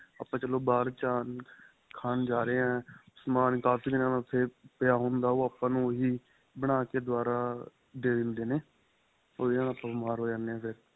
ਆਪਾਂ ਚਲੋ ਬਹਾਰ ਖਾਣ ਜਾਂ ਰਹੇ ਏ ਸਮਾਨ ਕਾਫ਼ੀ ਦਿਨਾਂ ਦਾ ਉਥੇ ਪਇਆ ਹੁੰਦਾ ਉਹ ਆਪਾਂ ਨੂੰ ਉਹੀਂ ਬਣਾਕੇ ਦੁਆਰਾਂ ਦੇ ਦਿੰਦੇ ਨੇ ਔਰ ਜਿਹਦੇ ਨਾਲ ਆਪਾਂ ਬੀਮਾਰ ਹੋ ਜਾਂਦੇ ਏ ਫ਼ਿਰ